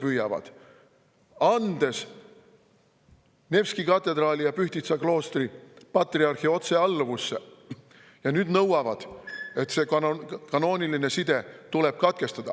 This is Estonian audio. Olles andnud Nevski katedraali ja Pühtitsa kloostri patriarhi otsealluvusse, nõuavad nad nüüd, et see kanooniline side tuleb katkestada.